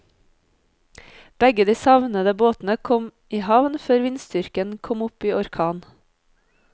Begge de savnede båtene kom i havn før vindstyrken kom opp i orkan.